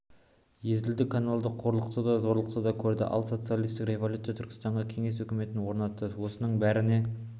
езілді қаналды қорлықты да зорлықты да көрді ал социалистік революция түркістанға кеңес өкіметін орнатты осының бәріне